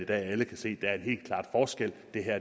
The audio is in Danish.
alle kan se